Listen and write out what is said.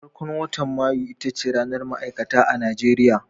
Farkon watan Mayu ita ce ranar ma'aikata a Najeriya.